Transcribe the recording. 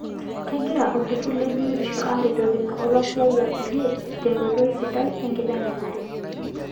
Kegira olturrur le biotisho aaretekino olasiyiak kulie tenkotoi sidai enkiteng'enare.